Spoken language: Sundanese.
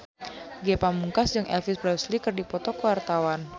Ge Pamungkas jeung Elvis Presley keur dipoto ku wartawan